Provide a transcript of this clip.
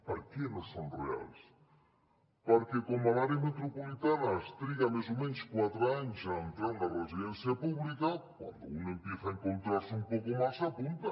per què no són reals perquè com a l’àrea metropolitana es triguen més o menys quatre anys a entrar en una residència pública cuando uno empieza a encontrarse un poco mal se apunta